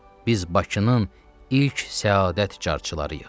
Biz Bakının ilk səadət carçılarıyıq.